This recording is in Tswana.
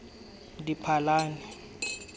diphalane